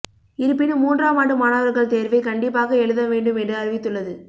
இருப்பினும் மூன்றாம் ஆண்டு மாணவர்கள் தேர்வை கண்டிப்பாக எழுத வேண்டும் என்று அறிவித்துள்ளது